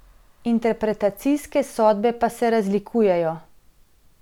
Interpretacije sodbe pa se razlikujejo.